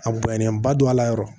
A bonyannen ba don a la yɔrɔ